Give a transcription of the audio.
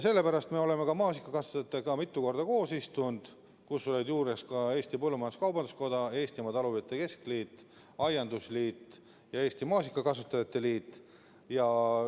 Sellepärast me olemegi maasikakasvatajatega mitu korda koos istunud, juures olid ka Eesti Põllumajandus-Kaubanduskoda, Eestimaa Talupidajate Keskliit, Eesti Aiandusliit ja Eesti Maasikakasvatajate Liit.